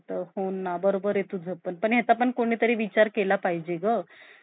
अं काही change होबार नाही